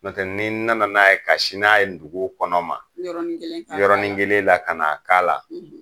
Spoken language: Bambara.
N'ɔ tɛ ni nana n'a ye ka sini n'a ye dugu kɔnɔ ma; Yɔrɔnin kelen kaka la; yɔrɔnin kelen la ka na ka.